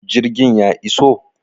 jirgin ya iso?